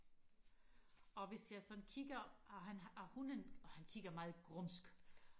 og hvis jeg sådan kigger og han og hunden og han kigger meget grumsk